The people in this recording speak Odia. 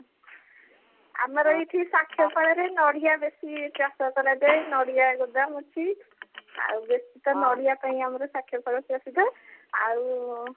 ଆମର ଏଇଠି ସାଖିଗୋପାଳ ରେ ନଡିଆ ବେଶୀ ଚାଷ କରାଯାଏ ନଡିଆ ଗୋଦାମ ଅଛି ଆଉ ବେଶୀ ତ ନଡିଆ ପାଇଁ ଆମର ସାକ୍ଷୀଗୋପାଳ ପ୍ରସିଦ୍ଧ ଆଉ